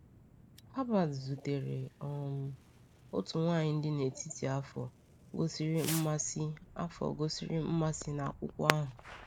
Herbert zutere um otu nwaanyị dị n’etiti afọ gosiri mmasị afọ gosiri mmasị n’akwụkwọ ahụ.